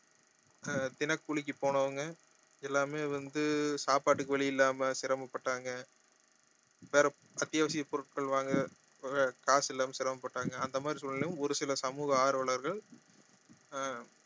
அஹ் தின கூலிக்கு போனவங்க எல்லாமே வந்து சாப்பாட்டுக்கு வழி இல்லாம சிரமப்பட்டாங்க வேற அத்தியாவசிய பொருட்கள் வாங்க வே~ காசு இல்லாம சிரமப்பட்டாங்க அந்த மாதிரி சூழ்நிலையிலும் ஒரு சில சமூக ஆர்வலர்கள் ஆஹ்